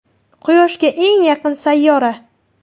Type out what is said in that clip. Quyoshga eng yaqin sayyora.